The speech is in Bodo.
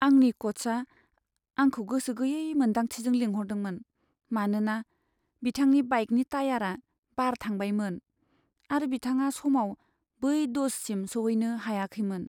आंनि क'चआ आंखौ गोसो गैयै मोन्दांथिजों लिंहरदोंमोन, मानोना बिथांनि बाइकनि टायारा बार थांबायमोन आरो बिथाङा समाव बै दज'सिम सौहैनो हायाखैमोन।